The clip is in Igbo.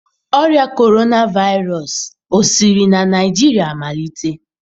Ọrịa Corona Virus siri na Naijiria malite?